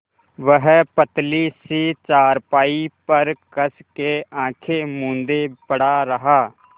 वह पतली सी चारपाई पर कस के आँखें मूँदे पड़ा रहा